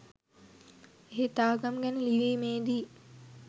එහෙත් ආගම් ගැන ලිවීමේදි